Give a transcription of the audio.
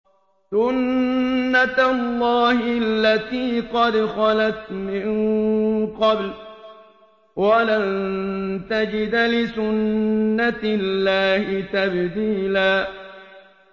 سُنَّةَ اللَّهِ الَّتِي قَدْ خَلَتْ مِن قَبْلُ ۖ وَلَن تَجِدَ لِسُنَّةِ اللَّهِ تَبْدِيلًا